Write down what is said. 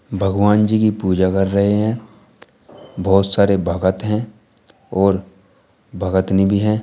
भगवान जी की पूजा कर रहे हैं बहोत सारे भगत हैं और भगतनी भी है।